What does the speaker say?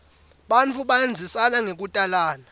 bantfu bandzisana ngekutalana